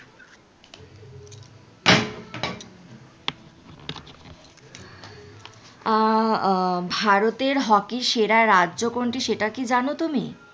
আহ ভারতে হকি সেরা রাজ্য কোনটা সেটা কি জানো কি তুমি?